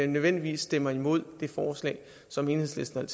nødvendigvis stemmer imod det forslag som enhedslisten